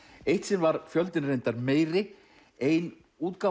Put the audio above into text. eitt sinn var fjöldinn reyndar meiri ein útgáfa